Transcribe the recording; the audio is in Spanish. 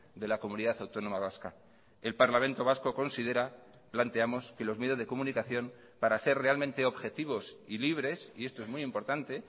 de la comunidad autónoma vasca el parlamento vasco considera planteamos que los medios de comunicación para ser realmente objetivos y libres y esto es muy importante